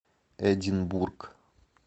эдинбург